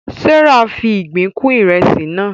Serah fí ìgbín kún Ìrẹsí naa